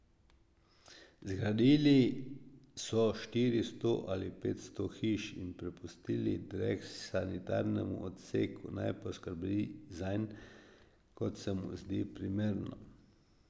Zgradili so štiristo ali petsto hiš in prepustili drek sanitarnemu odseku, naj poskrbi zanj, kot se mu zdi primerno.